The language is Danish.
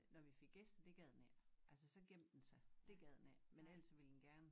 Når vi fik gæster det gad den ikke altså så gemte den sig dét gad den ikke men ellers så ville den gerne